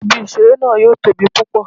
Ibi-iṣere naa yoo tobi pupọ